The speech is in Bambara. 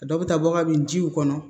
A dɔw bɛ taa bɔ kabini jiw kɔnɔ